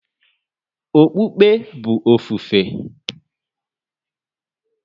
Okpukpe bụ ofufe